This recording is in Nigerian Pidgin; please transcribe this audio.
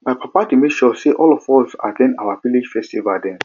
my papa dey make sure sey all of us at ten d our village festival dem